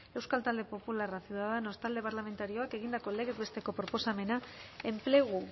euskal talde popularra ciudadanos talde parlamentarioak egindako legez besteko proposamena enplegu